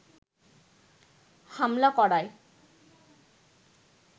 হামলা করায়